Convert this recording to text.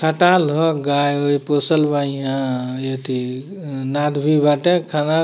खटाल ह गाय ओऐ पोसल बा ईहाँ यथी अं नाद भी बटे खाना --